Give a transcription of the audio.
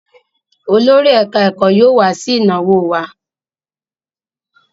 Olórí ẹ̀ká-ẹ̀kọ́ yóò wá sí ìnáwó wa